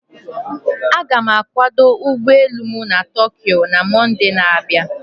Aga m akwado ụgbọ elu m na Tokyo na Mọnde na-abịa.